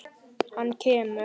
Hann kemur.